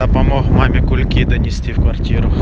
помог маме кульки донести квартир